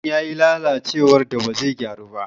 Keken ya yi lalacewar da ba zai gyaru ba.